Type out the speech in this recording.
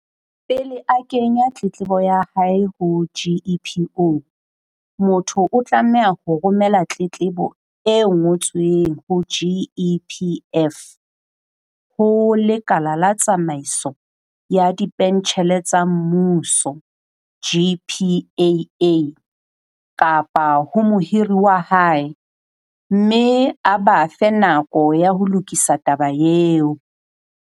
Pele a kenya tletlebo ya hae ho GEPO, motho o tlameha ho romela tletlebo e ngo tsweng ho GEPF, ho Lekala la Tsamaiso ya Dipentjhele tsa Mmuso, GPAA, kapa ho mohiri wa hae, mme a ba fe nako ya ho lokisa taba eo.